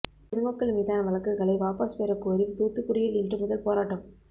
பொதுமக்கள் மீதான வழக்குகளை வாபஸ் பெற கோரி தூத்துக்குடியில் இன்று முதல் போராட்டம்